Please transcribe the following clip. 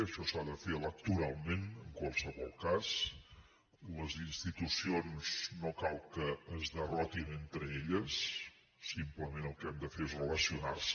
això s’ha de fer electoralment en qualsevol cas les institucions no cal que es derrotin entre elles simplement el que han de fer és relacionar se